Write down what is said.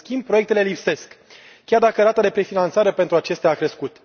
În schimb, proiectele lipsesc, chiar dacă rata de prefinanțare pentru acestea a crescut.